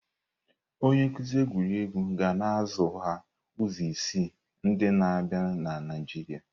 Onye nkuzi egwuregwu ga na-azụ ha izu isii ndi na-abịa na Naịjirịa.